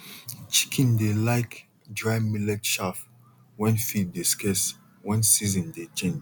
chicken dey like dry millet chaff when feed dey scarce when season dey change